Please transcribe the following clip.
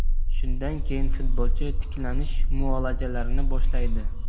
Shundan keyin futbolchi tiklanish muolajalarini boshlaydi.